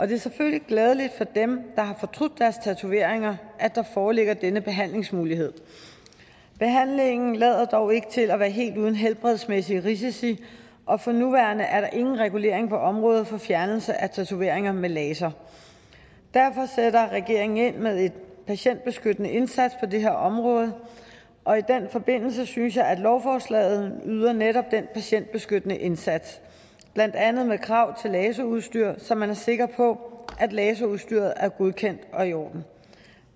det er selvfølgelig glædeligt for dem der har fortrudt deres tatoveringer at der foreligger denne behandlingsmulighed behandlingen lader dog ikke til at være helt uden helbredsmæssige risici og for nuværende er der ingen regulering på området for fjernelse af tatoveringer med laser derfor sætter regeringen ind med en patientbeskyttende indsats på det her område og i den forbindelse synes jeg at lovforslaget yder netop den patientbeskyttende indsats blandt andet med krav til laserudstyr så man er sikker på at laserudstyret er godkendt og i orden